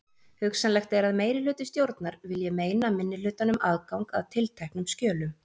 Hugsanlegt er að meirihluti stjórnar vilji meina minnihlutanum aðgang að tilteknum skjölum.